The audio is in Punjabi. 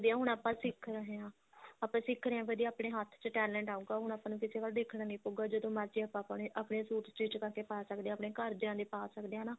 ਹੁਣ ਆਪਾਂ ਸਿੱਖ ਰਹੇ ਹਾਂ ਆਪਾਂ ਸਿੱਖ ਰਹੇ ਹਾਂ ਵਧੀਆ ਆਪਣੇ ਹੱਥ ਚ talent ਆਉਗਾ ਹੁਣ ਆਪਾਂ ਨੂੰ ਕਿਸੇ ਵੱਲ ਦੇਖਣਾ ਨਹੀਂ ਪਉਗਾ ਜਦੋਂ ਮਰਜੀ ਆਪਾਂ ਆਪਣੇ suit stich ਕਰਕੇ ਪਾ ਸਕਦੇ ਹਾਂ ਆਪਣੇ ਘਰਦਿਆ ਦੇ ਪਾ ਸਕਦੇ ਹਾਂ ਨਾ